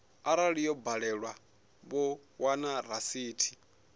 arali yo badelwa vho wana rasithi